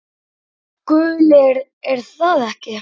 Gulir er það ekki?